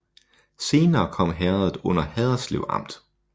Senere kom herredet under Haderslev Amt